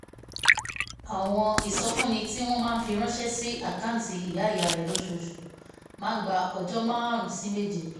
àwọn ìsọfúnni tí wọ́n máa ń fi ránṣẹ́ sí àkáǹtì ìyá ìyá rẹ̀ lóṣooṣù máa ń gba ọjọ́ márùn-ún sí méje